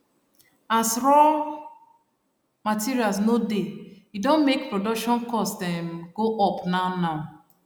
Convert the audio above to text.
as raw materials no dey edon make production cost um go up now now